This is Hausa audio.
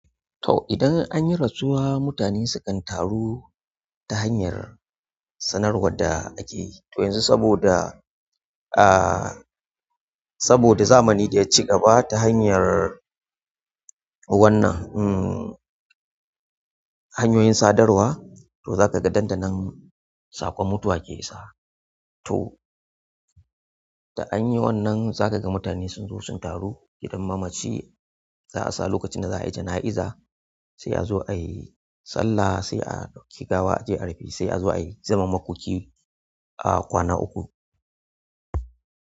To, idan an yi rasuwa, mutane sukan taru ta hanyar sanarwar da ake yi. To yanzu saboda, aaah, saboda zamani ɗaya ci gaba ta hanyar wannan, umm, hanyoyin sadarwa, to za ka ga dandanan saƙon mutuwa ke isa. To, da anyi wannan za ka ga mutane sun zo sun taru gidan mamaci. Za a sa lokacin da za a yi jana'iza, sai a zo ayi sallah, sai a ɗauki gawa a je rufe, sai a zo ayi zaman makoki a kwana uku.